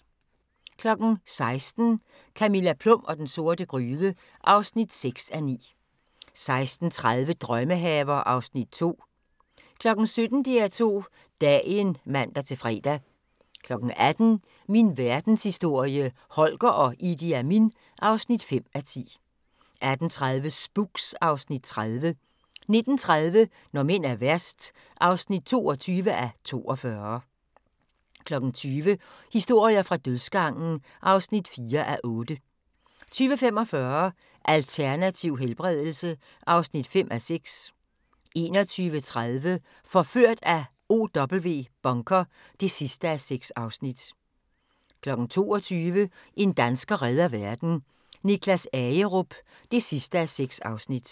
16:00: Camilla Plum og den sorte gryde (6:9) 16:30: Drømmehaver (Afs. 2) 17:00: DR2 Dagen (man-fre) 18:00: Min Verdenshistorie – Holger og Idi Amin (5:10) 18:30: Spooks (Afs. 30) 19:30: Når mænd er værst (22:42) 20:00: Historier fra dødsgangen (4:8) 20:45: Alternativ helbredelse (5:6) 21:30: Forført af OW Bunker (6:6) 22:00: En dansker redder verden - Niklas Agerup (6:6)